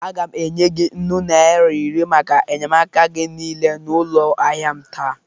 Aga m enye gị nnụ naịra iri maka enyemaka gị niile n'ụlọ ahịa m taa.